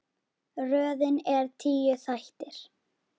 Röðin er tíu þættir.